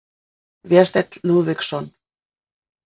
Vésteinn Lúðvíksson.